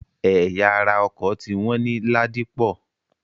Ẹ̀ya ara ọkọ̀ ti wọ́n ní Ládípọ̀.